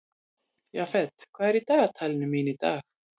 Jafet, hvað er í dagatalinu mínu í dag?